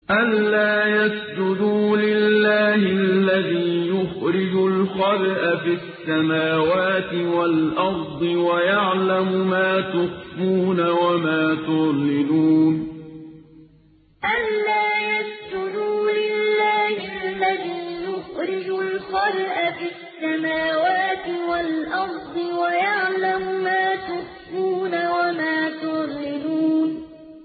أَلَّا يَسْجُدُوا لِلَّهِ الَّذِي يُخْرِجُ الْخَبْءَ فِي السَّمَاوَاتِ وَالْأَرْضِ وَيَعْلَمُ مَا تُخْفُونَ وَمَا تُعْلِنُونَ أَلَّا يَسْجُدُوا لِلَّهِ الَّذِي يُخْرِجُ الْخَبْءَ فِي السَّمَاوَاتِ وَالْأَرْضِ وَيَعْلَمُ مَا تُخْفُونَ وَمَا تُعْلِنُونَ